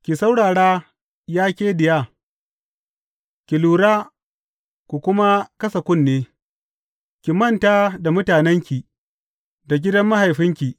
Ki saurara, ya ke diya, ki lura ku kuma kasa kunne, Ki manta da mutanenki da gidan mahaifinki.